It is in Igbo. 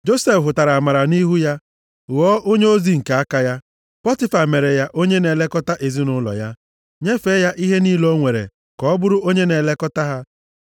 Josef hụtara amara nʼihu ya, ghọọ onyeozi nke aka ya. Pọtifa mere ya onye na-elekọta ezinaụlọ ya. Nyefee ya ihe niile o nwere ka ọ bụrụ onye na-elekọta ha.